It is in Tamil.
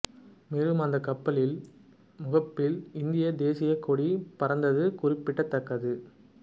மேலும் அந்த கப்பலின் முகப்பில் இந்திய தேசிய கொடி பறந்தது குறிப்பிடதக்கது